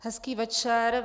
Hezký večer.